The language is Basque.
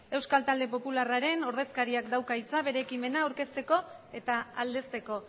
euskal talde popularraren ordezkariak dauka hitza bere ekimena aurkezteko eta aldezteko